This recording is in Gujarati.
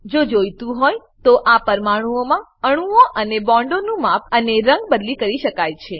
જો જોઈતું હોય તો આ પરમાણુંઓમાં અણુઓ અને બોન્ડોનું માપ અને રંગ બદલી કરી શકાય છે